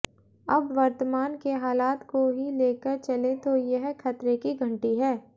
अब वर्तमान के हालात को ही लेकर चलें तो यह खतरे की घंटी है